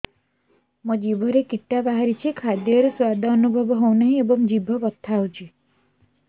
ମୋ ଜିଭରେ କିଟା ବାହାରିଛି ଖାଦ୍ଯୟରେ ସ୍ୱାଦ ଅନୁଭବ ହଉନାହିଁ ଏବଂ ଜିଭ ବଥା ହଉଛି